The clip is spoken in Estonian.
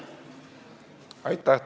Aitäh!